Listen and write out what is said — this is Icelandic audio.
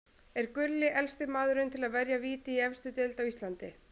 Er Gulli elsti maðurinn til að verja víti í efstu deild á Íslandi?